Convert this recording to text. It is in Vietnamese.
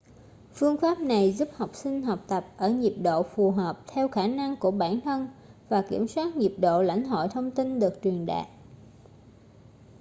phương pháp này giúp học sinh học tập ở nhịp độ phù hợp theo khả năng của bản thân và kiểm soát nhịp độ lãnh hội thông tin được truyền đạt